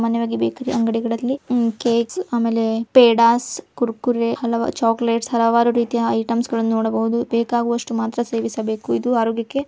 ಮನೆಯೊಳಗೆ ಬೇಕರಿ ಅಂಗಡಿಗಳಲ್ಲಿ ಕೇಕ್ ಆಮೇಲೆ ಪೇಡ ಕುರ್ಕುರೆ ಹಲವಾರು ಚಾಕ್ಲೇಟ್ಸ್ ಹಲವಾರು ರೀತಿಯ ಐಟಮ್ಸ್ ಗಳನ್ನು ನೋಡಬಹುದು. ಬೇಕಾಗುವಷ್ಟು ಮಾತ್ರ ಸೇವಿಸಬೇಕು ಇದು ಆರೋಗ್ಯಕ್ಕೆ --